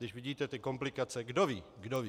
Když vidíte ty komplikace, kdo ví, kdo ví.